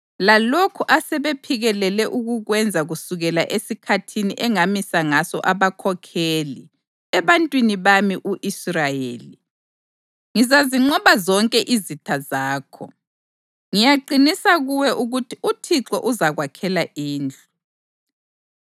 lalokhu asebephikelele ukukwenza kusukela esikhathini engamisa ngaso abakhokheli ebantwini bami u-Israyeli. Ngizazinqoba zonke izitha zakho. Ngiyaqinisa kuwe ukuthi uThixo uzakwakhela indlu: